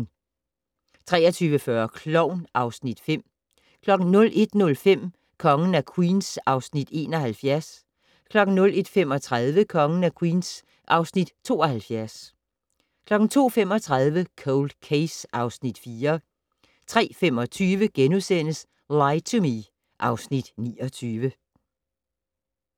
23:40: Klovn (Afs. 5) 01:05: Kongen af Queens (Afs. 71) 01:35: Kongen af Queens (Afs. 72) 02:35: Cold Case (Afs. 4) 03:25: Lie to Me (Afs. 29)*